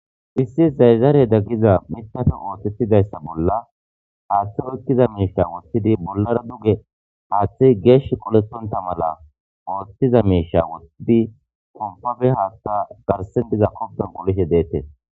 issi zayzaareda ggiza mitafe ootettidayssa bolla haaththe oyikkiza miisha wothidi bollara duge haaththe geesh qoletonta mala ooththiza miisha wottidi pompabe haatta garsen diza kobben qolishe deettee